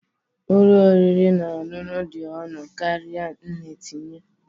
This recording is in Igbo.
Nri ụlọ oriri na ọṅụṅụ dị ọnụ karịa nne tinye